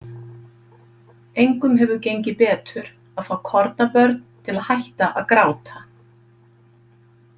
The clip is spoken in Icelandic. Engum hefur gengið betur að fá kornabörn til að hætta að gráta.